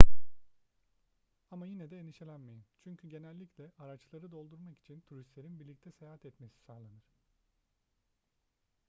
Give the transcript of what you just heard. ama yine de endişelenmeyin çünkü genellikle araçları doldurmak için turistlerin birlikte seyahat etmesi sağlanır